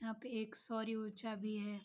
यह पे एक सौर ऊर्जा भी है।